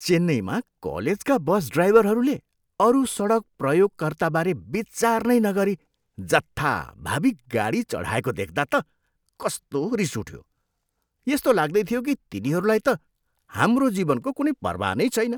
चेन्नईमा कलेजका बस ड्राइभरहरूले अरू सडक प्रयोगकर्ताबारे विचार नै नगरी जथाभावी गाडी चढाएको देख्दा त कस्तो रिस उठ्यो। यस्तो लाग्दै थियो कि तिनीहरूलाई त हाम्रो जीवनको कुनै पर्वाह नै छैन।